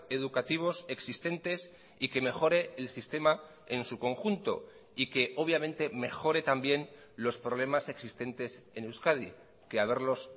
educativos existentes y que mejore el sistema en su conjunto y que obviamente mejore también los problemas existentes en euskadi que haberlos